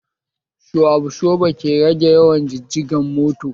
Sho absoba ke rage yawa jijigen mota